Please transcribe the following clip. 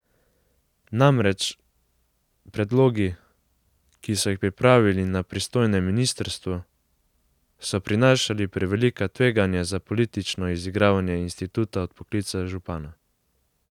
Namreč, predlogi, ki so jih pripravili na pristojnem ministrstvu, so prinašali prevelika tveganja za politično izigravanje instituta odpoklica župana.